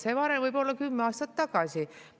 See "varem" võib olla kümme aastat tagasi.